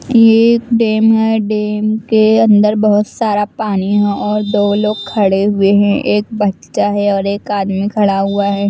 यह एक डैम हैं डैम के अंदर बहुत सारा पानी हैं और दो लोग खड़े हुए हैं एक बच्चा हैं और एक आदमी खड़ा हुआ है।